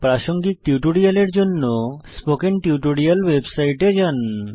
প্রাসঙ্গিক টিউটোরিয়ালের জন্য স্পোকেন টিউটোরিয়াল ওয়েবসাইটে যান